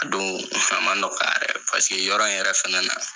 Ka don faama dɔ ka, paseke yɔrɔ in yɛrɛ fɛnɛ na.